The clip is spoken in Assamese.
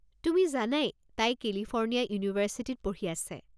তুমি জানাই তাই কেলিফৰ্ণিয়া ইউনিভাৰ্ছিটিত পঢ়ি আছে।